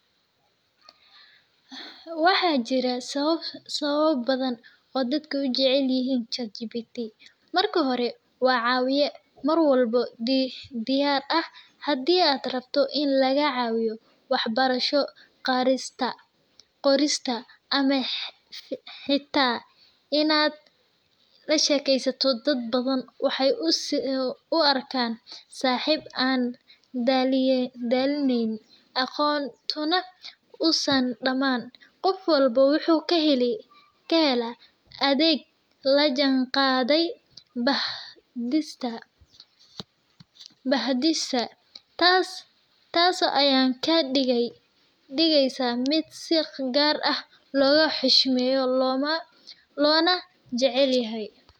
Waxaa jiraa sababa badhan oo dadka ujecelyihin Chatgbt, marka hore wa cawiye , mar walba diyar ah hadi ad rabto in lagacawiyo in lagacawiyo waxbarasho, qorista ma hita in ad lashekesato dad bafhan , waxaay uarkan ij ad dalineynin , aqon an san damanin , tas a kadigeysaah mid si gar ah logaxuhsmeyo osaxip an daleynin , aqontana uu san dhaman . Qof walbo wuxuu kahelaa adeeg an lajan din bahdilka , tas ayaan kadigeysaah mid si gar logaxushmyo oo lojecelyahay.